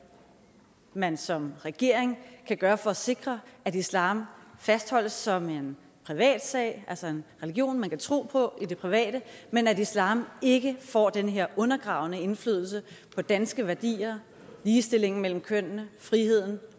man som regering kan gøre for at sikre at islam fastholdes som en privatsag altså en religion man kan tro på i det private men at islam ikke får den her undergravende indflydelse på danske værdier ligestillingen mellem kønnene friheden